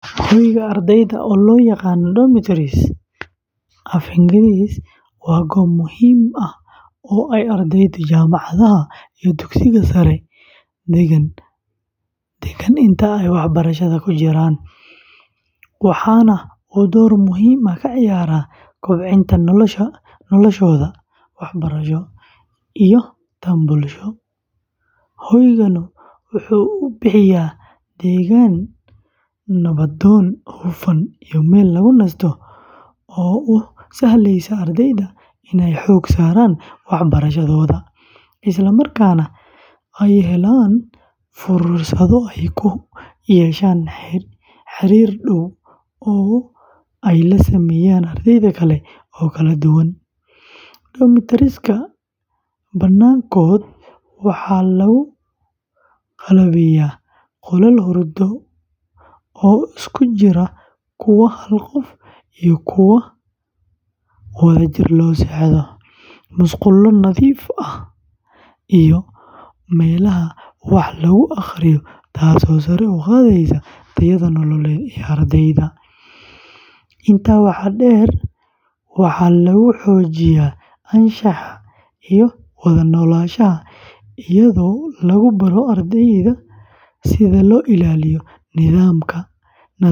Hoyga ardayda, oo loo yaqaan "domitories" af Ingiriisi, waa goob muhiim ah oo ay ardayda jaamacadaha iyo dugsiyada sare degaan inta ay waxbarashada ku jiraan, waxaana uu door muhiim ah ka ciyaaraa kobcinta noloshooda waxbarasho iyo tan bulsho. Hoyganu waxa uu bixiyaa deegaan nabdoon, hufan, iyo meel lagu nasto oo u sahlaysa ardayda inay xoogga saaraan waxbarashadooda, isla markaana ay helaan fursado ay ku yeeshaan xiriir dhow oo ay la sameeyaan arday kale oo kala duwan. Domitories-ka badankood waxaa lagu qalabeeyaa qolal hurdo oo isugu jira kuwa hal qof ah iyo kuwo wadajir loo seexdo, musqulo nadiif ah, iyo meelaha wax lagu akhriyo, taasoo sare u qaadaysa tayada nololeed ee ardayga. Intaa waxaa dheer, waxaa lagu xoojiyaa anshaxa iyo wada noolaanshaha iyadoo lagu baro ardayda sida loo ilaaliyo nidaamka, nadaafadda.